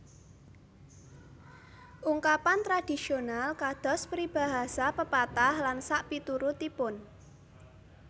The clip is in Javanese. Ungkapan tradhisional kados peribahasa pepatah lan sakpiturutipun